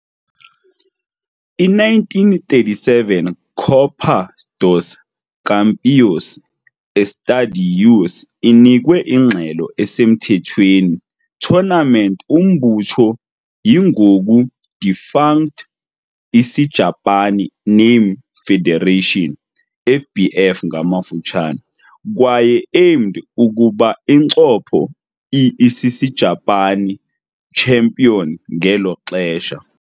I-1937 Copa dos Campeões Estaduais inikwe ingxelo esemthethweni tournament umbutho yi-ngoku defunct Isijapani Name Federation, FBF, kwaye aimed ukuba incopho i-Isisijapani champion ngelo xesha.